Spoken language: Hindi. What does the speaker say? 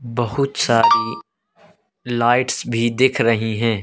बहुत सारी लाइट्स भी दिख रही है।